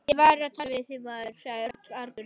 Ég var að tala við þig, maður sagði Örn argur.